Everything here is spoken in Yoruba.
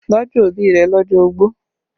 Tọ́jú òbí rẹ lọ́jọ́ ogbó!